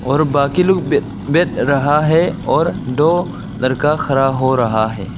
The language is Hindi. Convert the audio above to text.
और बाकी लोग बे बैठ रहा है और दो लड़का खड़ा हो रहा है।